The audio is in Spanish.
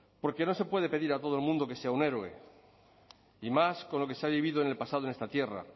porque no se puede pedir a todo el mundo que sea un héroe y más con lo que se ha vivido en el pasado en esta tierra